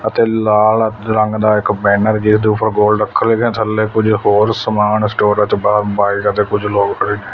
ਅਤੇ ਲਾਲ ਰੰਗ ਦਾ ਇੱਕ ਬੈਨਰ ਜਿਸ ਦੇ ਉਪਰ ਗੋਲ ਰੱਖ ਥੱਲੇ ਕੁਝ ਹੋਰ ਸਮਾਨ ਸਟੋਰ ਚ ਬਾਹਰ ਬਾਈਕ ਤੇ ਕੁਝ ਲੋਕ--